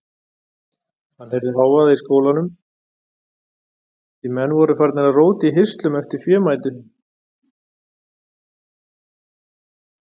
Hann heyrði hávaða í skálanum því menn voru farnir að róta í hirslum eftir fémætu.